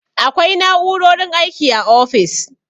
Akwai na'u'rorin aiki a ofis.